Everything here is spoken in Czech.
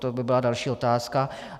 To by byla další otázka.